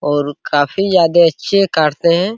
और काफी ज्यादे अच्छे काटते हैं।